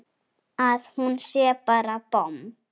Að hún sé bara bomm!